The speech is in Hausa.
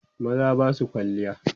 maza Basu kwalliya